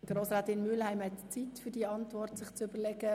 Grossrätin Mühlheim hat Zeit, sich ihre Antwort zu überlegen.